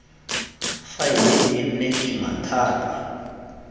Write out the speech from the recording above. faele e nne kima thata